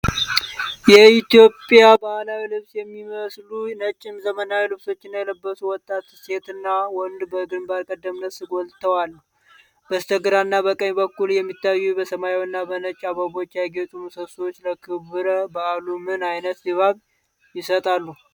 ኢትዮጵያን ባህላዊ ልብስ የሚመስሉ ነጭ ዘመናዊ ልብሶችን የለበሱ ወጣት ሴትና ወንድ በግንባር ቀደምትነት ጎልተውአሉ። በስተግራና በቀኝ በኩል የሚታዩት በሰማያዊና በነጭ አበቦች ያጌጡ ምሰሶዎች ለክብረ በዓሉ ምን ዓይነት ድባብ ይሰጣሉ?